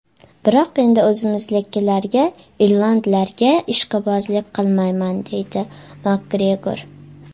Biroq endi o‘zimnikilarga irlandlarga ishqibozlik qilmayman”, deydi Makgregor.